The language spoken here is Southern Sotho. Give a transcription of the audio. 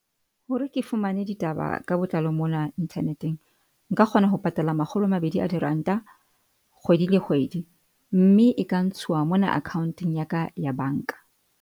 Hore ke fumane ditaba ka botlalo mona internet-eng, nka kgona ho patala makgolo a mabedi a diranta, kgwedi le kgwedi, mme e ka ntshuwa mona akhaonteng ya ka ya bank-a.